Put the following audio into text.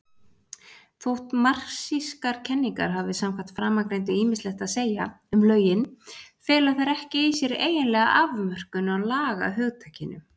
Þótt marxískar kenningar hafi samkvæmt framangreindu ýmislegt að segja um lögin, fela þær ekki í sér eiginlega afmörkun á lagahugtakinu.